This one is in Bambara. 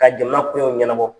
Ka jama koɲaw ɲɛnabɔ.